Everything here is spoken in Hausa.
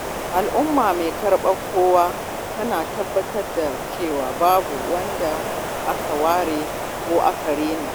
Al’umma mai karɓar kowa tana tabbatar da cewa babu wanda aka ware ko aka raina.